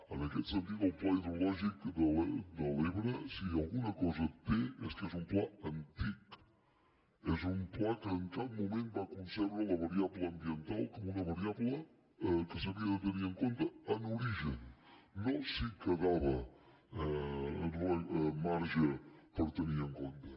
en aquest sentit el pla hidrològic de l’ebre si alguna cosa té és que és un pla antic és un pla que en cap moment va concebre la variable ambiental com una variable que s’havia de tenir en compte en origen no si quedava marge per tenir en compte